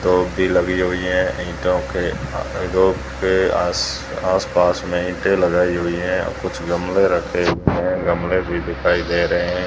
दोबड़ी लगी हुईं है रो के आस आसपास में ईंटें लगाई हुईं हैं और कुछ गमले रखे हुएं हैं गमले भी दिखाई दे रहें हैं।